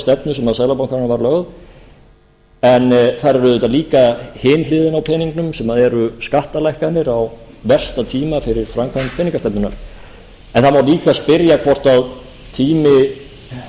stefnu sem seðlabankanum var lögð en þar er auðvitað líka hin hliðin á teningnum sem eru skattalækkanir á versta tíma fyrir framkvæmd peningastefnunnar það má líka spyrja hvort tími lítillar